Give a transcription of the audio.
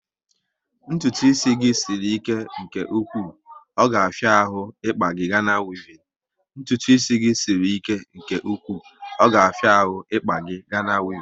Ntụtụ isi gị sịrị ike nke ụkwụ, ọ ga afia ahụ ikpa gị Gana wevin